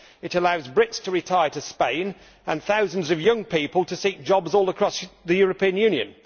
It allows Brits to retire to Spain and thousands of young people to seek jobs all across the European Union.